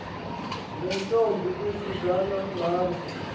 neentombi ezizalwa ngabo